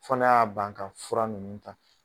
Fana y'a ban ka fura ninnu ta